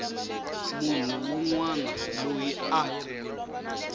munhu wun wana loyi a